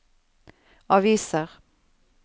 aviser